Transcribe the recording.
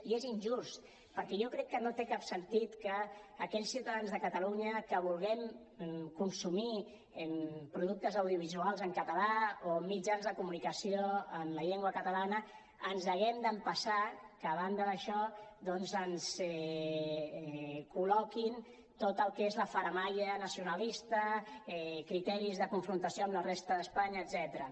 i és injust perquè jo crec que no té cap sentit que aquells ciutadans de catalunya que volem consumir productes audiovisuals en català o mitjans de comunicació en la llengua catalana ens haguem d’empassar que a banda d’això doncs ens col·loquin tot el que és la faramalla nacionalista criteris de confrontació amb la resta d’espanya etcètera